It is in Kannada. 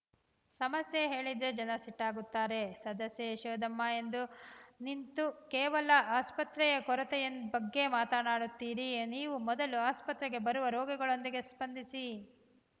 ಸಮಸ್ಯೆ ಹೇಳಿದ್ರೆ ಜನ ಸಿಟ್ಟಾಗ್ತಾರೆ ಸದಸ್ಯೆ ಯಶೋದಮ್ಮ ಎಂದು ನಿಂತು ಕೇವಲ ಆಸ್ಪತ್ರೆಯ ಕೊರತೆಯ ಬಗ್ಗೆ ಮಾತನಾಡುತ್ತೀರಿ ನೀವು ಮೊದಲು ಆಸ್ಪತ್ರೆಗೆ ಬರುವ ರೋಗಿಗಳೊಂದಿಗೆ ಸ್ಪಂದಿಸಿ